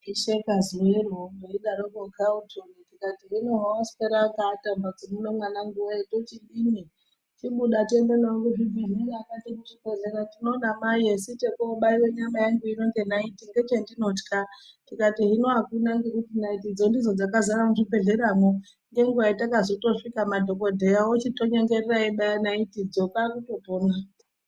Ndaisheka zuwero paidaroko Carlton ndikati hino hawaaswera wakapata mumbatso muno mwananguwe tochidini chibuda tiende newe kuchibhedhlera akati kuchibhedhlera ndinoda mai asi chekobaiwe nyama yangu ino ngenaiti ngechendinotya ndikati hino akuna naitidzo ndidzo dzakazara muzvibhedhleramo ngenguwa yatakazotosvika madhokodheya ochitonyengerera eibaya naitidzo kwakutopona.